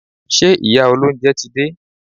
Ṣé ìyá olóúnjẹ ti dé?